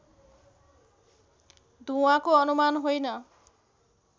धुवाँको अनुमान होइन